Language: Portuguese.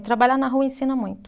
E trabalhar na rua ensina muito.